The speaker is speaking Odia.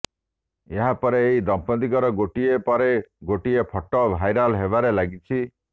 ଏହାପରେ ଏହି ଦମ୍ପତିଙ୍କର ଗୋଟିଏ ପରେ ଗୋଟିଏ ଫଟୋ ଭାଇରାଲ ହେବାରେ ଲାଗିଛି